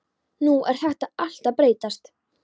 Nú er þetta allt að breytast.